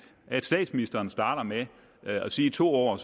at statsministeren starter med at sige to ord og